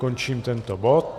Končím tento bod.